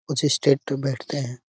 कुछ इस टाइप के बैठते हैं।